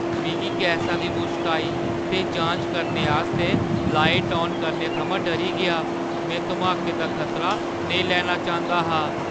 मिगी गैसा दी मुश्क आई ते जांच करने आस्तै लाइट आन करने थमां डरी गेआ। में धमाके दा खतरा नेईं लैना चांह्‌दा हा।